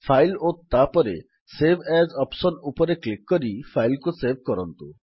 file ଓ ତାପରେ save as option ରେ କ୍ଲିକ୍ କରି ଫାଇଲ୍ କୁ ସେଭ୍ କରନ୍ତୁ